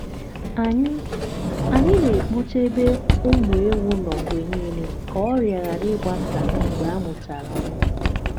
anyị anyị na-ekpocha ebe ụmụ ewu nọ mgbe niile ka ọrịa ghara ịgbasa mgbe amuchara nwa.